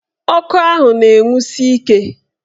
Ọkụ ahụ na-enwusi ike.